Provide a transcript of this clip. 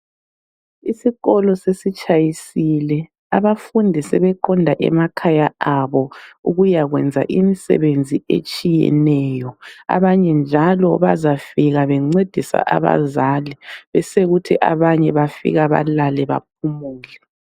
Isikolo sesitshayisile ,abafundi sebeqonda emakhaya abo ukuya kwenza imisebenzi etshiyeneyo. Abanye njalo bazafika bencedisa abazali besekuthi abanye bafika balale baphumule.